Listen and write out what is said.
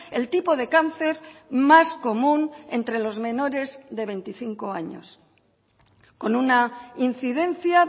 el tipo de cáncer más común entre los menores de veinticinco años con una incidencia